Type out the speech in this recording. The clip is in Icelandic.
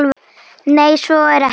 Nei, svo er ekki.